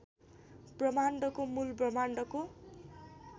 ब्रह्माण्डको मूल ब्रह्माण्डको